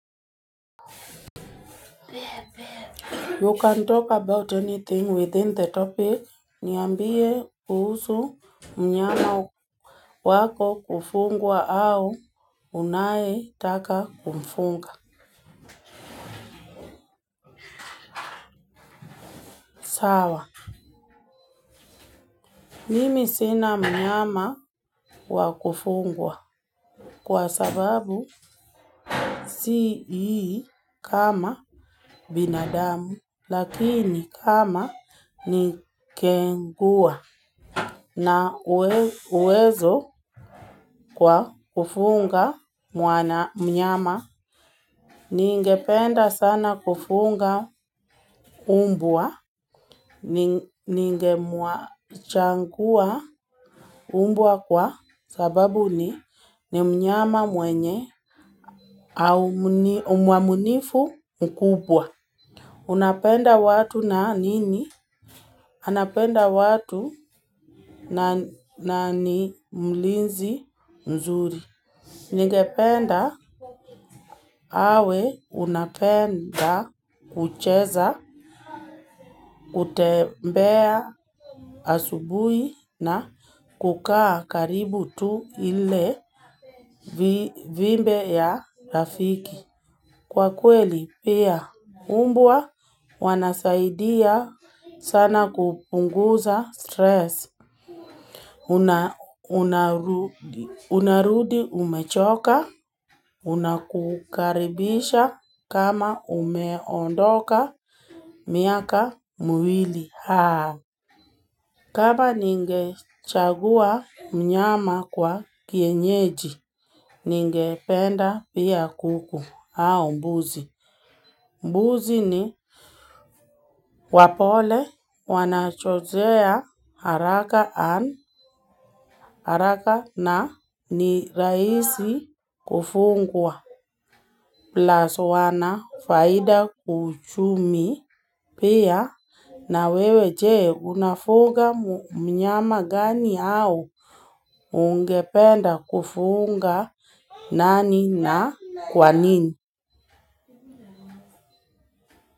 You can talk about anything within the topic niambie kuhusu mnyama wako kufungwa au unaye taka kumfunga. Mimi sina mnyama wa kufungwa kwa sababu si ii kama binadamu lakini kama ni kengua na uwezo kwa kufunga mwana mnyama. Ningependa sana kufunga mbwa, ningemua changua umbua kwa sababu ni ni mnyama mwenye au mwamunifu mkubwa. Unapenda watu na nini? Anapenda watu na ni mlinzi mzuri. Ningependa awe unapenda kucheza, kutembea asubuhi na kukaa karibu tu ile vimbe ya rafiki. Kwa kweli pia umbua, wanasaidia sana kupunguza stress. Unarudi umechoka, unakukaribisha kama umeondoka miaka miwili. Kama ninge chagua mnyama kwa kienyeji, ninge penda pia kuku au mbuzi. Mbuzi ni wapole wanachozea haraka an haraka na ni raisi kufungwa. Plaso wana faida kuchumi pia na wewe jee unafuga mnyama gani au ungependa kufunga nani na kwanini.